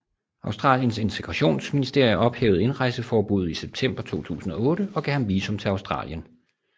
Australiens Integrationsministerie ophævede indrejseforbuddet i september 2008 og gav ham visum til Australien